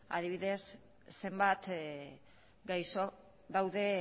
adibidez zenbat gaixo daude